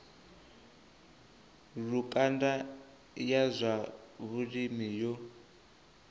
lukanda ya zwa vhulimi yo